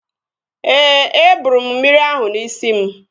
Ee, e bụrụ m mmiri ahụ n'isi m